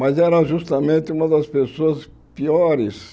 Mas era justamente uma das pessoas piores